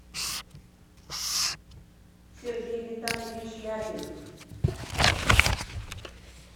сергей витальевич ляпин